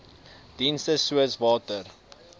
dienste soos water